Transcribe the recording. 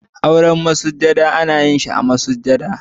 Auren masujada ana yin sa masujada.